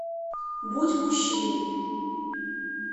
будь мужчиной